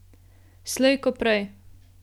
Slej ko prej.